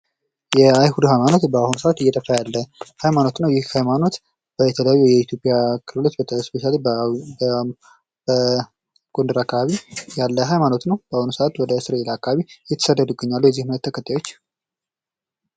የአይሁድ ሃይማኖት እየጠፋ ያለ ሀይማኖት ነው ።የኢትዮጵያ ክልሎች ስፔሻሊ በጎንደር አካባቢ ያለ ሃይማኖት ነው። በአሁኑ ሰዓት ወደ እስራኤል አካባቢ የተሰደዱ ይገኛሉ የዚህ እምነት ተከታዮች።